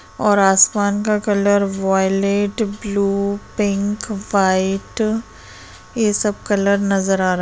और आसमान का colour violet blue pink white यह सब कलर नजर आ रहा है।